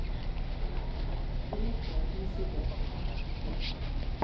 Grete Husebø